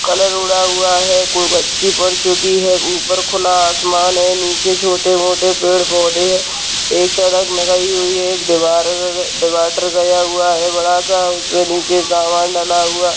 Colour उड़ा हुआ है कोई बच्ची पढ़ चुकी है ऊपर खुला आसमान है नीचे छोटे-मोटे पैड-पौधे हैं एक सड़क लगाई हुई है एक दीवार डिवाइडर गया हुआ है बड़ा सा उसमे नीचे सामान डला हुआ है।